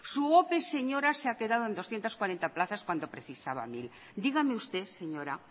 su ope señora se ha quedado en doscientos cuarenta plazas cuando precisaban mil dígame usted señora